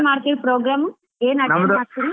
ಮಾಡ್ತೀರಾ program ಏನ್ ಮಾಡ್ತೀರಿ?